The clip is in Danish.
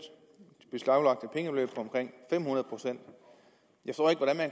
omkring fem hundrede procent